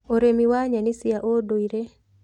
Ũrĩmi wa nyeni cia ũndũire